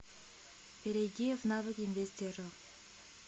перейди в навык инвестерро